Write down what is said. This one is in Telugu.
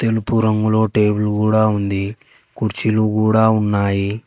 తెలుపు రంగులో టేబులు కూడా ఉంది కుర్చీలు కూడా ఉన్నాయి.